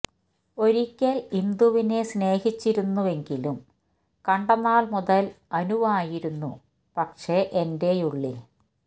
ഒരിക്കൽ ഇന്ദുവിനെ സ്നേഹിച്ചിരുന്നെങ്കിലും കണ്ട നാൾ മുതൽ അനുവായിരുന്നു പക്ഷേ എന്റെയുള്ളിൽ